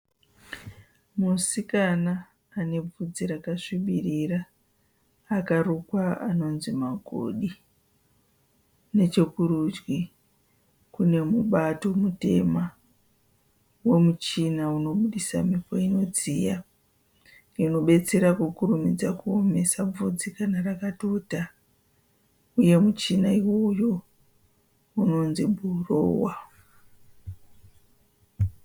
Musikana ane bvudzi rakasvibirira akarukwa anonzi magodi nechekurudyi kune mubato mutema wemuchina unoburitsa mhepo inodziya inobetsera kukurumidza kuomesa bvudzi kana rakatota, muchina iwowo unonzi bhurowa.